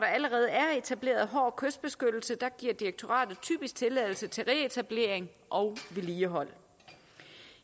allerede er etableret hård kystbeskyttelse giver direktoratet typisk tilladelse til reetablering og vedligehold